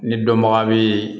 Ni dɔnbaga bɛ